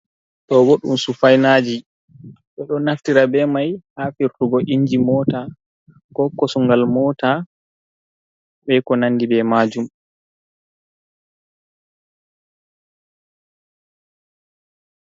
Ɗo bo ɗum sufainaji ɓeɗo naftira be mai ha firtugo inji, mota, ko kosongal mota, be ko nandi be majum.